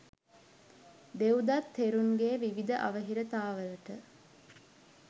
දෙව්දත් තෙරුන්ගේ විවිධ අවහිරතාවලට